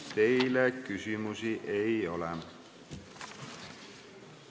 Teile küsimusi ei ole.